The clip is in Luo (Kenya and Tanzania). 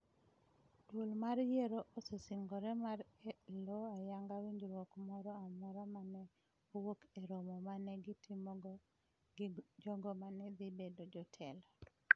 Duol mar yiero osesingore mar elo ayanga winjruok moro amora ma ne owuok e romo ma ne gitimogo gi jogo ma ne dhi bedo jotelo.